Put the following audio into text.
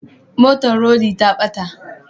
Motar rodi ta bata